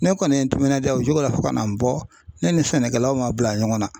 Ne kɔni ye n timinanjaa o cogo la fo ka n'an bɔ ne ni sɛnɛkɛlaw man bila ɲɔgɔn na.